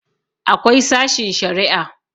akwai sashin Sharia